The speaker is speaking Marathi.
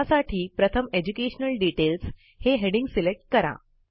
त्यासाठी प्रथम एज्युकेशनल डिटेल्स हे हेडिंग सिलेक्ट करा